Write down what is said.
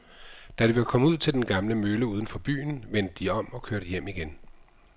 Da de var kommet ud til den gamle mølle uden for byen, vendte de om og kørte hjem igen.